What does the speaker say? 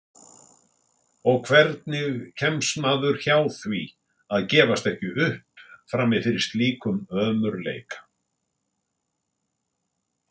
Og hvernig kemst maður hjá því að gefast ekki upp frammi fyrir slíkum ömurleika?